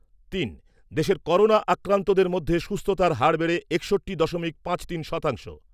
তিন। দেশে করোনা আক্রান্তদের মধ্যে সুস্থতার হার বেড়ে একষট্টি দশমিক পাঁচ তিন শতাংশ।